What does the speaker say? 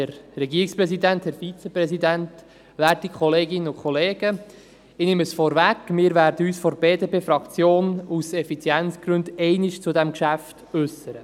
Wir von der BDP-Fraktion werden uns aus Effizienzgründen nur einmal zu diesem Geschäft äussern.